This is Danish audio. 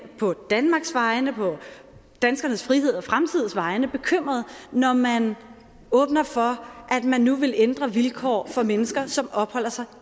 på danmarks vegne på danskernes frihed og fremtids vegne grundlæggende bekymret når man åbner for at man nu vil ændre vilkår for mennesker som opholder sig